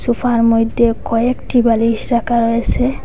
সোফার মইধ্যে কয়েকটি বালিশ রাখা রয়েসে।